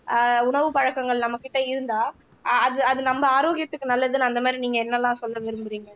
ஆஹ் உணவு பழக்கங்கள் நம்ம கிட்ட இருந்தா ஆஹ் அது அது நம்ம ஆரோக்கியத்துக்கு நல்லதுன்னு அந்த மாதிரி நீங்க என்னெல்லாம் சொல்ல விரும்புறீங்க